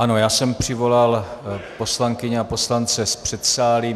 Ano, já jsem přivolal poslankyně a poslance z předsálí.